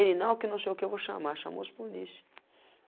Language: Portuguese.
Ele não que não sei o que eu vou chamar, chamou os polícia.